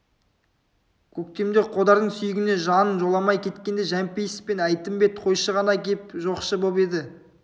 көктемде қодардың сүйегіне жан жоламай кеткенде жәмпейіс пен әйтімбет қойшы ғана кеп жоқшы боп еді